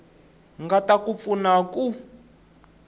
nga ta ku pfuna ku